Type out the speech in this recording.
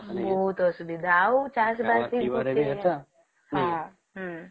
ବୋହୁତ ଅସୁବିଧା ଆଉ ଚାଷ ବାସ